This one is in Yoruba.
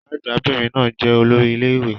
Ọ̀gá-àgbà 'bìnrin náà jẹ́ olórí ilé ìwé.